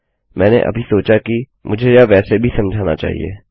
मैंने अभी सोचा कि मुझे यह वैसे भी समझाना चाहिए